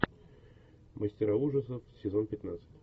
мастера ужасов сезон пятнадцать